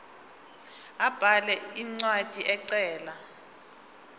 abhale incwadi ecela